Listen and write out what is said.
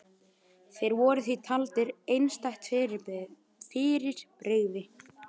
Þeir voru því taldir einstætt fyrirbrigði.